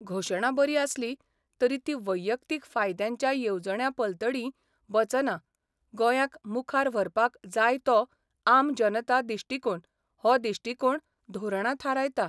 घोशणा बरी आसली तरी ती वैयक्तीक फायद्यांच्या येवजण्यांपलतडीं वचना गोंयांक मुखार व्हरपाक जाय तो 'आम जनता' दिश्टिकोण हो दिश्टिकोण धोरणां थारायता.